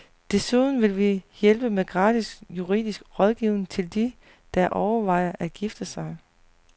Desuden vil vi hjælpe med gratis juridisk rådgivning til de, der overvejer at gifte sig.